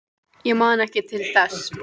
Ég man ekki til þess.